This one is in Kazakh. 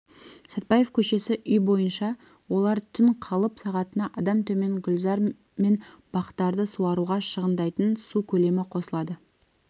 сатпаев көшесі үй бойынша олар түн қалып сағатына адам төмен гүлзар мен бақтарды суаруға шығындайтын су көлемі қосылады